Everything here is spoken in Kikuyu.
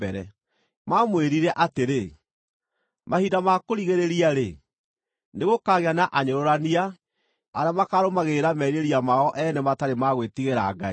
Maamwĩrire atĩrĩ, “Mahinda ma kũrigĩrĩria-rĩ, nĩgũkagĩa na anyũrũrania arĩa makarũmagĩrĩra merirĩria mao ene matarĩ ma gwĩtigĩra Ngai.”